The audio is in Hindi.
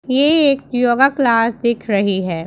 ये एक योगा क्लास दिख रही है।